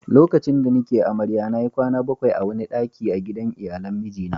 lokacin da ni ke amarya na yi kwana bakwai a wani dakin a gidan iyalan miji na